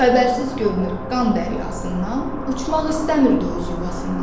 Xəbərsiz görünüb qan dəryasından, uçmaq istəmirdi öz yuvasından.